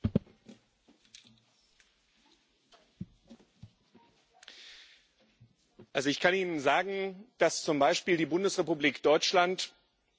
Also ich kann Ihnen sagen, dass zum Beispiel die Bundesrepublik Deutschland, als Deutschland noch ein geteilter Staat war, in Ostberlin die Ständige Vertretung hatte.